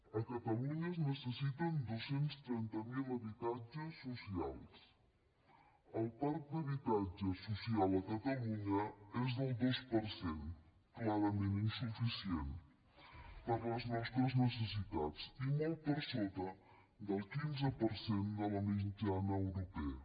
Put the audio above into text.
a catalunya es necessiten dos cents i trenta miler habitatges socials el parc d’habitatge social a catalunya és del dos per cent clarament insuficient per a les nostres necessitats i molt per sota del quinze per cent de la mitjana europea